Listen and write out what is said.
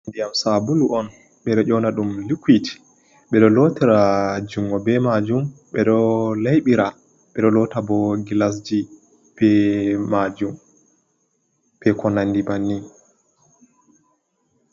Ndiyam sabulu on ɓeɗo ƴona ɗum likuit, ɓeɗo lotira jungo be majum, ɓeɗo laiɓira, ɓeɗo lota bo gilasji be majum be konandi bannin.